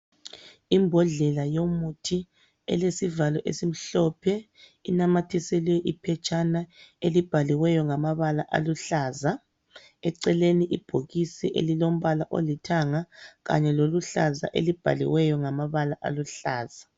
Imbodlela yomuthi elesivalo esimhlophe, inamathisele iphetshana elibhaliwe aluhlaza. Eceleni libhokisi elilombala olithanga kanye loluhlaza elibhaliweyo ngamabala aluhlaza.